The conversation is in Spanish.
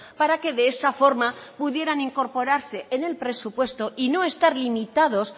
para que de esa forma pudieran incorporarse en el presupuesto y no estar limitados